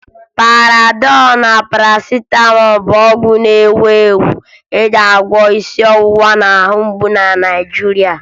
Panadọ na Parasịtamọọ bụ ọgwụ ndị na-ewu ewu e ji agwọ isi ọwụwa na ahụmgbu na Naịjirịa